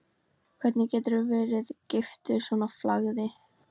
Hvernig geturðu verið giftur svona flagði?